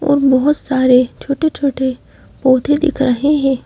और बहुत सारे छोटे छोटे पौधे दिख रहे हैं।